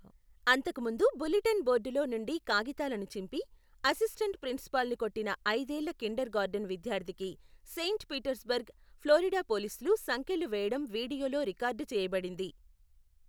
అంతకుముందు బులెటిన్ బోర్డులో నుండి కాగితాలను చింపి, అసిస్టెంట్ ప్రిన్సిపాల్ను కొట్టిన ఐదేళ్ల కిండర్ గార్టెన్ విద్యార్థికి సెయింట్ పీటర్స్బర్గ్, ఫ్లోరిడా పోలీసులు సంకెళ్లు వేయడం వీడియోలో రికార్డు చేయబడింది.